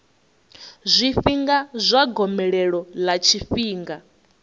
zwifhinga zwa gomelelo ḽa tshifhinga